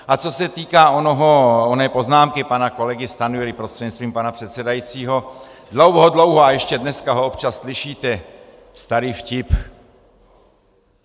A co se týká oné poznámky pana kolegy Stanjury prostřednictvím pana předsedajícího, dlouho, dlouho a ještě dneska ho občas slyšíte, starý vtip.